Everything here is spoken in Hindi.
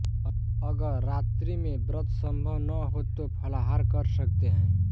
अगर रात्रि में व्रत संभव न हो तो फलाहार कर सकते हैं